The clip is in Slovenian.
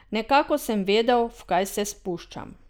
Nekako sem vedel, v kaj se spuščam.